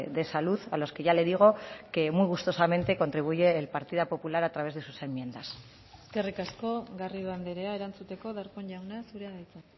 de salud a los que ya le digo que muy gustosamente contribuye el partido popular a través de sus enmiendas eskerrik asko garrido andrea erantzuteko darpón jauna zurea da hitza